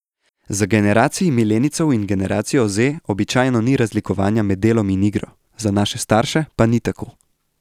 Za generaciji milenijcev in generacijo Z običajno ni razlikovanja med delom in igro, za naše starše pa ni tako.